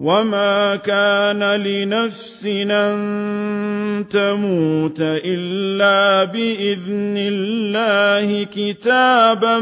وَمَا كَانَ لِنَفْسٍ أَن تَمُوتَ إِلَّا بِإِذْنِ اللَّهِ كِتَابًا